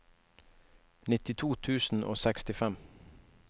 nittito tusen og sekstifem